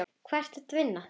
Hvar ertu að vinna?